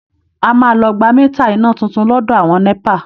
A máa lọ gba mítà iná tuntun lọ́dọ̀ àwọn NẸPA